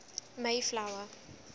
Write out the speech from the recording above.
mayflower